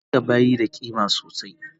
Kadanga bayi da ƙima sosai